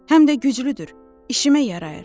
Həm də güclüdür, işimə yarayır.